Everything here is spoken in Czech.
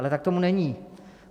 Ale tak tomu není.